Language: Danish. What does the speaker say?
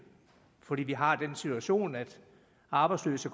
fordi vi har den situation at de arbejdsløse